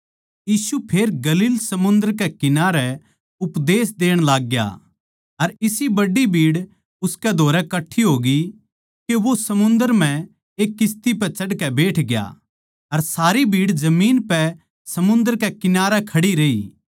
यीशु फेर गलील समुन्दर कै किनारै उपदेश देण लागग्या अर इसी बड्डी भीड़ उसकै धोरै कट्ठी होगी के वो समुन्दर म्ह एक किस्ती पै चढ़कै बैठग्या अर सारी भीड़ जमीन पै समुन्दर कै किनारै खड़ी रही